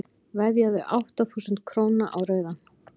veðjaðu átta þúsund króna á rauðan